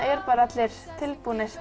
eru allir tilbúnir